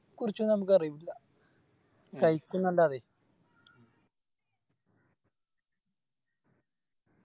കുറിച്ചൊന്നും എനക്കറിയൂല്ല